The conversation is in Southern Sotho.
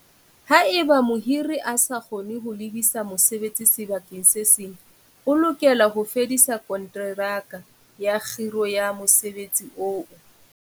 Haeba mohiri a sa kgone ho lebisa mosebeletsi sekgeong se seng, o lokela ho fedisa konteraka ya kgiro ya mosebeletsi eo.